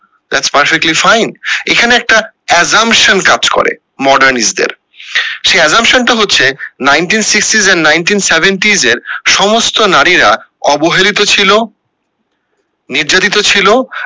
that perfectly fine এইখানে একটি assumption কাজ করে mordernize দের সেই assumption টা হচ্ছে nineteen sixty এবং nineteen seventy এ সমস্ত নারীরা অবহেলিত ছিল নির্যাতিত ছিল